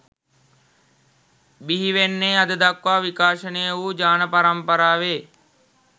බිහිවෙන්නේ අද දක්වා විකාශනය වු ජාන පරම්පරාවෙ